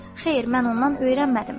Xeyr, mən ondan öyrənmədim.